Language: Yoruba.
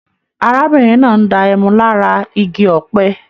Arákùnrin náà ń dá ẹmu lára Igi ọ̀pẹ